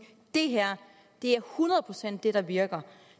det her er hundrede procent det der virker